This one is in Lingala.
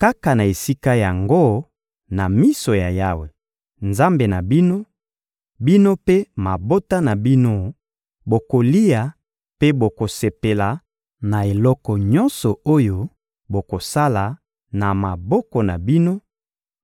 Kaka na esika yango, na miso ya Yawe, Nzambe na bino, bino mpe mabota na bino bokolia mpe bokosepela na eloko nyonso oyo bokosala na maboko na bino;